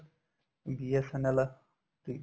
BSNL ਠੀਕ